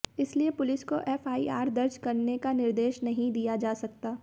इसलिए पुलिस को एफआईआर दर्ज करने का निर्देश नहीं दिया जा सकता